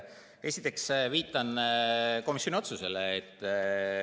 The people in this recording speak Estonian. Esiteks viitan komisjoni otsusele.